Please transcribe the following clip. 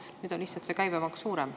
Nüüd on lihtsalt see käibemaks suurem.